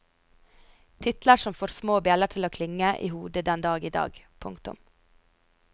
Titler som får små bjeller til å klinge i hodet den dag idag. punktum